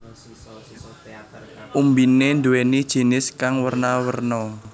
Umbiné nduwèni jinis kang werna werna